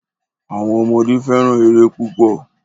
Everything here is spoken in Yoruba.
Awọn ọmọde fẹ́ràn ère púpò.